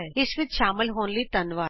ਇਸ ਟਿਯੂਟੋਰਿਅਲ ਵਿਚ ਸ਼ਾਮਲ ਹੋਣ ਲਈ ਧੰਨਵਾਦ